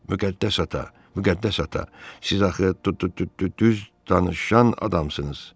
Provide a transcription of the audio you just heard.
Müqəddəs ata, Müqəddəs ata, siz axı d-d-d-düz danışan adamsınız.